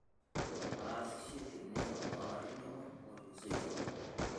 ataasishe tene toolarin tomon otolusoitie